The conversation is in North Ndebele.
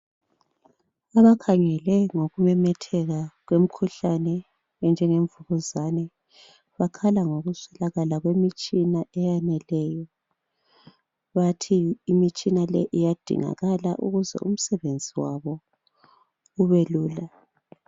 Abakhangela ngokumemetheka kwemkhuhlane enjengemvukuzane. Bakhala ngokuswelakala kwemitshiya eyaneleyo. Bathi imitshina le iyadingakala ukuze umsebenzi wabo ubelula.